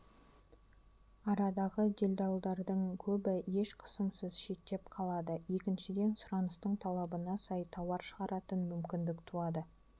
арадағы делдалдардың көбі еш қысымсыз шеттеп қалады екіншіден сұраныстың талабына сай тауар шығаратын мүмкіндік туады